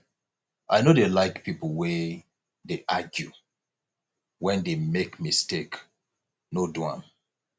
i no dey like pipo wey dey argue wen dey make mistake no do am